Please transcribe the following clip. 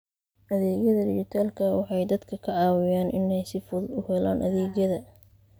Adeegyada dijitaalka ah waxay dadka ka caawiyaan inay si fudud u helaan adeegyada.